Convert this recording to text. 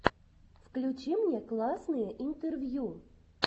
включи мне классные интервью